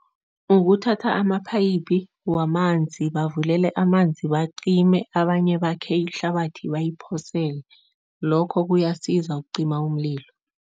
Ukuthatha amaphayiphi wamanzi, bavulele amanzi bacime abanye bakhe ihlabathi bayiphosele, lokho kuyasiza ukucima umlilo.